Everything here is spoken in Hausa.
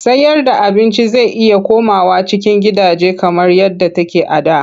Sayarda abinci zai iya komawa cikin gidaje kamar yadda take a da.